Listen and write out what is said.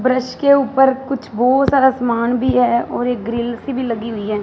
Brush के ऊपर कुछ बहोत सारा समान भी है और एक ग्रिल सी भी लगी हुई हैं।